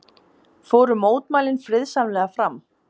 Fóru mótmælin friðsamlega fram